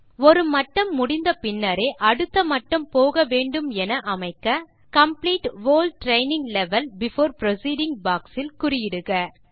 ஒரு மட்டம் முடித்த பின்னரே அடுத்த மட்டம் போக வேண்டுமென அமைக்க complete whole training level before proceeding box இல் குறியிடுக